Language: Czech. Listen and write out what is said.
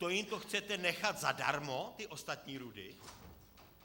To jim to chcete nechat zadarmo, ty ostatní rudy?